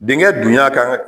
Denkɛ dunya kan ka